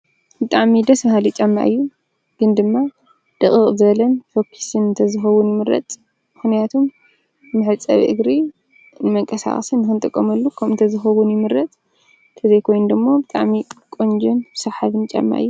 ደስ በሃሊ ጫማ ኮይኑ ንመንቀሳቐስን ንመሕፀብን ይጠቅም።